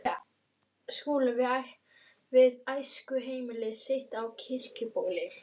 Skúli við æskuheimili sitt á Kirkjubóli.